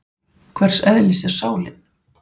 Hvers eðlis er sálin?